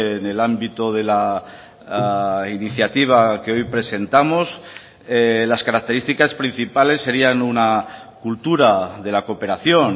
en el ámbito de la iniciativa que hoy presentamos las características principales serian una cultura de la cooperación